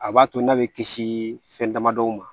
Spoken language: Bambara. A b'a to n'a bɛ kisi fɛn damadɔ ma